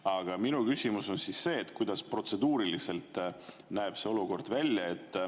Aga minu küsimus on: kuidas näeb see olukord välja protseduuriliselt?